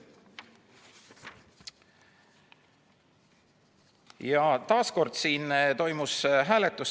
Ja veel kord toimus hääletus.